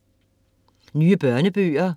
Nye børnebøger